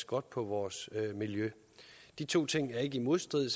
godt på vores miljø de to ting er ikke i modstrid